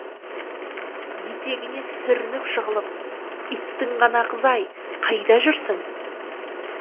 етегіне сүрініп жығылып иттің ғана қызы ай қайда жүрсің